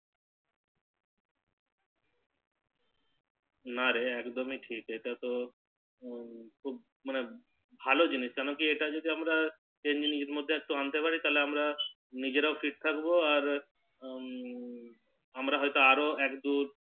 না রে একদমি ঠিক এটা তো হু মানে ভালো জিনিস কেনোকি এটা যদি আমরা Training এর মতো যদি আনতে পারি তাহলে আমরা নিজেরাও Fit থাকবো আর হু আমরা হয় তো আরো এক দু